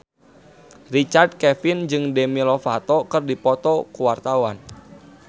Richard Kevin jeung Demi Lovato keur dipoto ku wartawan